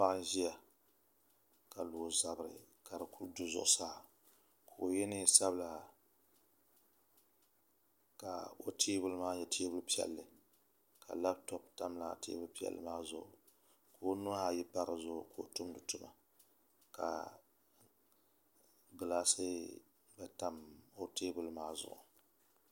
Paɣa n ʒiya ka lo o zabiri ka di ku du zuɣu saa ka o yɛ neen sabila ka o teebuli maa nyɛ teebuli piɛlli ka labtop tam laa teebuli piɛlli maa zuɣu ka o nuhi ayi pa di zuɣu ka o tumdi tuma ka gilaasi mii tam o tewbuli maa zuɣu